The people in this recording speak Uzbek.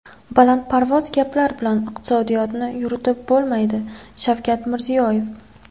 Balandparvoz gaplar bilan iqtisodiyotni yuritib bo‘lmaydi Shavkat Mirziyoyev.